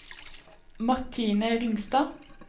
Martine Ringstad